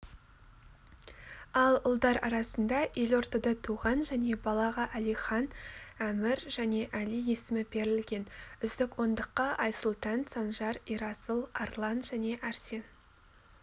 ал ұлдар арасында елордада туған және балаға әлихан әмір және әли есімі берілген үздік ондыққа айсұлтан санжар ерасыл арлан және әрсен